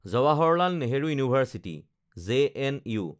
Jawaharlal Nehru university (JNU)